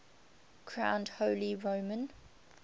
crowned holy roman